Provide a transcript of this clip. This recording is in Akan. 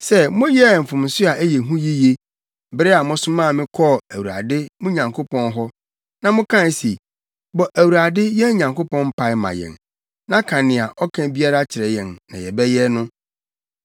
sɛ moyɛɛ mfomso a ɛyɛ hu yiye, bere a mosomaa me kɔɔ Awurade, mo Nyankopɔn hɔ, na mokae se, ‘Bɔ Awurade, yɛn Nyankopɔn mpae ma yɛn, na ka nea ɔka biara kyerɛ yɛn na yɛbɛyɛ,’ no.